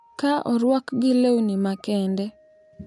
Ka orwakgi lewni makende,